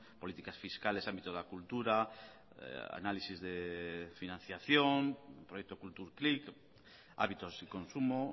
políticas fiscales ámbito de la cultura análisis de financiación proyecto kulturklik hábitos y consumo